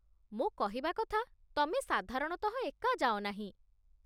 ମୋ କହିବା କଥା, ତମେ ସାଧାରଣତଃ ଏକା ଯାଅନାହିଁ